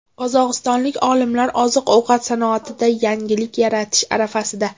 Qozog‘istonlik olimlar oziq-ovqat sanoatida yangilik yaratish arafasida.